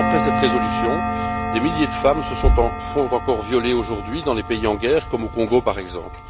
Or, dix ans après cette résolution, des milliers de femmes se font encore violer aujourd'hui dans les pays en guerre, comme au Congo, par exemple.